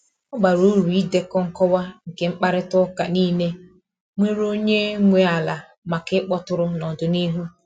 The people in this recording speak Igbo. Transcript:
Ọ bara uru idekọ nkọwa nke mkparịta ụka niile nwere onye nwe ala maka ịkpọtụrụ n’ọdịnihu.